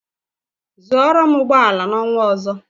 Zụorụ m ụgbọ ala n'ọnwa ọzọ!